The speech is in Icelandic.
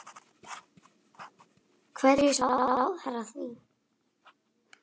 Hverju svarar ráðherra því?